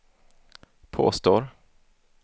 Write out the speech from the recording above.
påstår